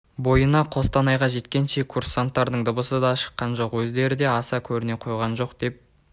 бойына қостанайға жеткенше курсанттардың дыбысы да шыққан жоқ өздері де аса көріне қойған жоқ деп